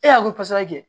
E y'a kosara kɛ